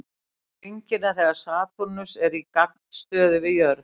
Best er að sjá hringina þegar Satúrnus er í gagnstöðu við jörð.